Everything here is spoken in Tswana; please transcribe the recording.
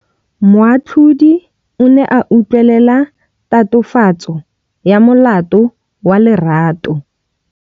Moatlhodi o ne a utlwelela tatofatsô ya molato wa Lerato.